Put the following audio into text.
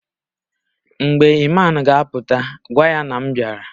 Mgbe Iman ga-a pụta gwa ya na m bịara